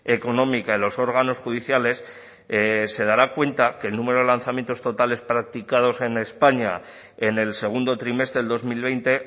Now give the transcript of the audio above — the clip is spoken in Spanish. económica en los órganos judiciales se dará cuenta que el número de lanzamientos totales practicados en españa en el segundo trimestre del dos mil veinte